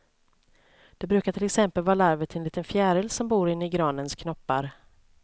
Det brukar till exempel vara larver till en liten fjäril som bor inne i granens knoppar.